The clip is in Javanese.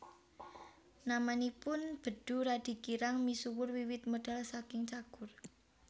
Namanipun Bedu radi kirang misuwur wiwit medal saking Cagur